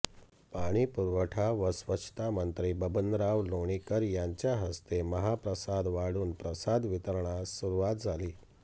पाणीपुरवठा व स्वच्छतामंत्री बबनराव लोणीकर यांच्या हस्ते महाप्रसाद वाढून प्रसाद वितरणास सुरुवात झाली